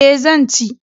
E, zan ci.